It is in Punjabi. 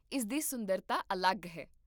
ਇਸ ਦੀ ਸੁੰਦਰਤਾ ਅਲੱਗ ਹੈ